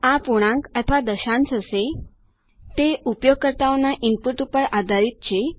આ પૂર્ણાંક અથવા દશાંશ હશે તે ઉપયોગકર્તાઓના ઈનપુટ પર આધારીત છે